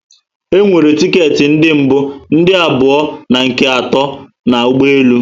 E nwere ticket ndi mbu, ndị abụọ and nke ato na ụgbọelu